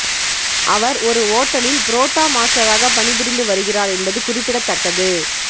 அவர் ஒரு ஓட்டலில் புரோட்டா மாஸ்டராக பணிபுரிந்து வருகிறார் என்பது குறிப்பிடத்தக்கது